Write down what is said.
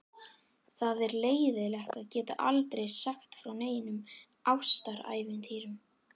Það er leiðinlegt að geta aldrei sagt frá neinum ástarævintýrum.